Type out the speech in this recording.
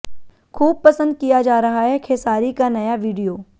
खूब पसंद किया जा रहा है खेसारी का नया वीडियो